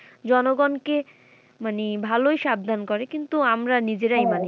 জনগণকে মানে ভালোই সাবধান করে কিন্তু আমরা নিজেরাই মানি না।